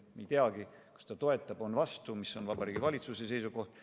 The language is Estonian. Me ei teagi, kas valitsus toetab või on vastu – mis on Vabariigi Valitsuse seisukoht.